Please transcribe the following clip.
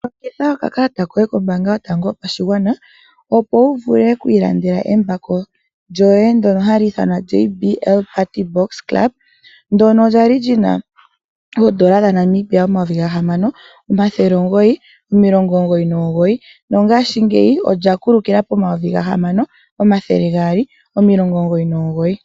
Longitha okakalata koye kombaanga yotango yopashigwana opo wu vule okwiilandela embako lyoye ndno hali ithanwa JBL Party box club ndjono lyali lyina oodola dhaNamibia omayovi gahamano omathele omugoyi nomugoyi no paife olya